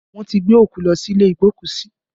Wọn ti gbé òkú lọ sí ilé igbokusi